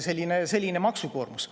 Selline on see maksukoormus.